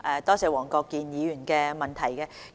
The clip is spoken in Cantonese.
多謝黃國健議員的補充質詢。